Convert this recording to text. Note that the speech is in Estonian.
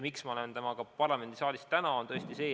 Miks ma olen sellega parlamendisaalis täna?